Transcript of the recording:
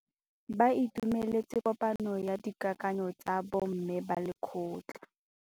Ba itumeletse kôpanyo ya dikakanyô tsa bo mme ba lekgotla.